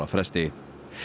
fresti